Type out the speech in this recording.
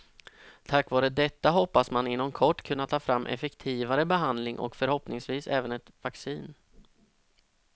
Tack vare detta hoppas man inom kort kunna ta fram effektivare behandling och förhoppningsvis även ett vaccin.